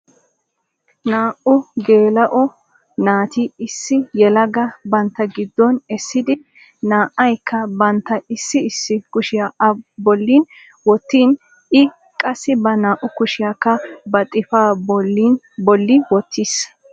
Naa"u geela"o naati issi yelaga bantta gidduwan essidi naa"aykka bantta issi issi kushiya A bollan wottin I qassi ba naa"u kushiyaakka ba xifaa bolli wottis.